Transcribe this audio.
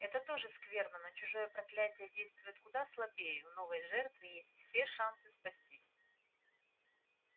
это тоже скверно но чужое проклятие действует куда слабее у новой жертвы есть все шансы спастись